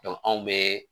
anw bɛ